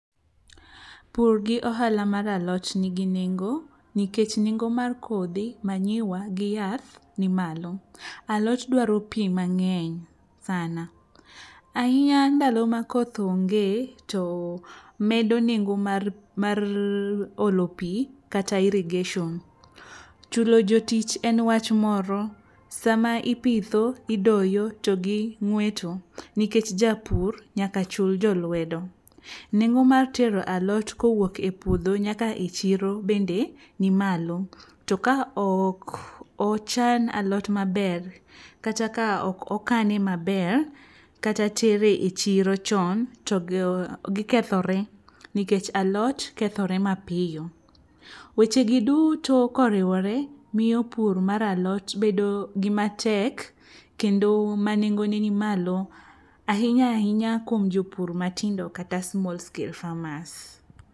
Pur gi ohala mar alot nigi nengo nikech nengo mar kodhi, manyiwa gi yath ni malo. Alot dwaro pi mang'eny sana ahinya ndalo ma koth onge to medo nengo mar olo pi kata irrigation. Chulo jotich en wach moro, sama ipitho, idoyo to gi ng'weto nikech japur nyaka chul jolwedo. Nengo mar tero alot kowuok e puodho nyaka e chiro bende ni malo, to ka ok ochan alot maber kata ka ok okane maber kata tere e chiro chon to gikethore nikech alot kethore mapiyo. Wechegi duto koriwore miyo pur mar alot bedo gimatek kendo ma nengone ni malo ahinya ahinya kuom jopur matindo kata small scale farmers.